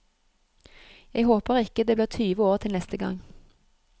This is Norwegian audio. Jeg håper ikke det blir tyve år til neste gang.